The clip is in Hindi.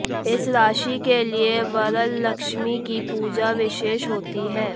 इस राशि के लिए वरलक्ष्मी की पूजा विशेष होती है